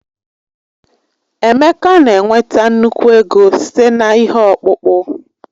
Emeka na-enweta nnukwu ego site na ihe ọkpụkpụ.